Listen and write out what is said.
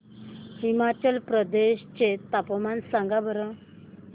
हिमाचल प्रदेश चे तापमान सांगा बरं